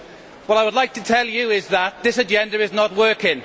What I would like to tell you is that this agenda is not working.